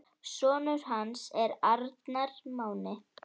Sonur hans er Arnar Máni.